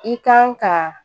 I kan ka